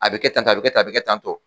A bɛ kɛ tan tɔ a bɛ kɛ tan a bɛ kɛ tan tɔ.